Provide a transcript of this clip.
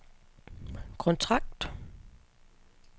kontrakt